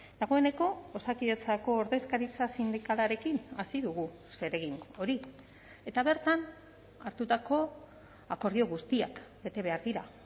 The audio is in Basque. dagoeneko osakidetzako ordezkaritza sindikalarekin hasi dugu zeregin hori eta bertan hartutako akordio guztiak bete behar dira